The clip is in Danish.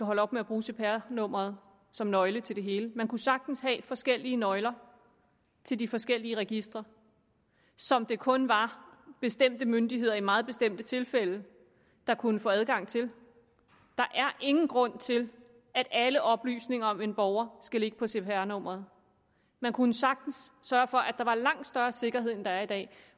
holder op med at bruge cpr nummeret som nøgle til det hele man kunne sagtens have forskellige nøgler til de forskellige registre som det kun var bestemte myndigheder der i meget bestemte tilfælde kunne få adgang til der er ingen grund til at alle oplysninger om en borger skal ligge på cpr nummeret man kunne sagtens sørge for at der var langt større sikkerhed end der er i dag